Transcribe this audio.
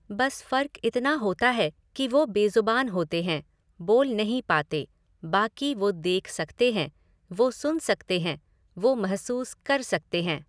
बस फ़र्क़ इतना होता है कि वो बेज़ुबान होते हैं, बोल नहीं पाते, बाकी वो देख सकते हैं, वो सुन सकते हैं, वो महसूस कर सकते हैं।